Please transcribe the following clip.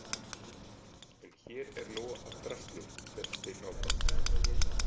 En hér er nóg af drasli, hélt Steinn áfram.